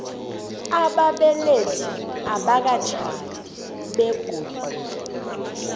ababelethi abakatjhadi begodu